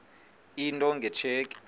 into nge tsheki